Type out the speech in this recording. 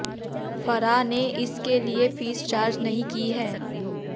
फराह ने इसके लिए फीस चार्ज नहीं की है